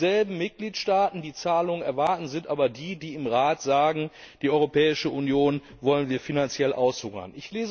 Dieselben Mitgliedstaaten, die Zahlungen erwarten, sind aber die, die im Rat sagen Die Europäische Union wollen wir finanziell aushungern.